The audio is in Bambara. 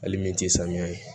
Hali min tɛ samiya ye